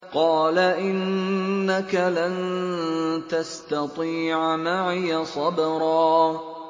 قَالَ إِنَّكَ لَن تَسْتَطِيعَ مَعِيَ صَبْرًا